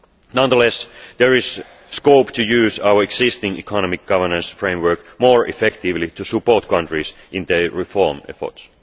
Nonetheless, there is scope to use our existing economic governance framework more effectively to support countries in their reform efforts.